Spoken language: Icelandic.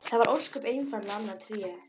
Það var ósköp einfaldlega annað Tré!